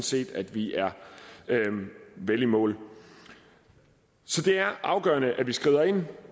set at vi er vel i mål så det er afgørende at vi skrider ind